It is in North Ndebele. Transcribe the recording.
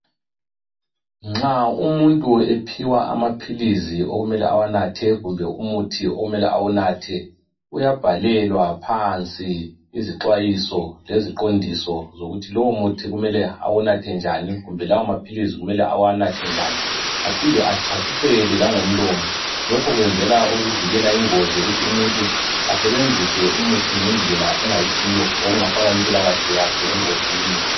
Nxa umuntu ephiwa amaphilisi okumele awanathe kumbe umuthi okumele awunathe uyabhalelwa phansi izixwayiso leziqondiso zokuthi lowu muthi kumele awunathe njani kumbe lawo maphilisi kumele awanathe njani aphinde achasiselwe langomlomo lokhu kwenzelwa ukuvikela ingozi yokuthi umuntu asebenzise umuthi ngendlela engayisiyo okungafaka impilakahle yakhe engozini